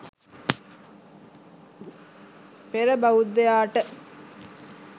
පෙර බෞද්ධයාට